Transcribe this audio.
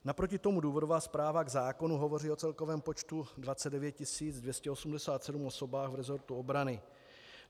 Naproti tomu důvodová zpráva k zákonu hovoří o celkovém počtu 29 287 osob v resortu obrany.